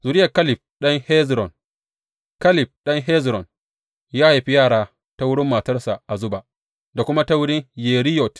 Zuriyar Kaleb ɗan Hezron Kaleb ɗan Hezron ya haifi yara ta wurin matarsa Azuba da kuma ta wurin Yeriyot.